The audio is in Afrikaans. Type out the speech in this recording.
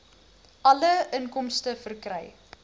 alle inkomste verkry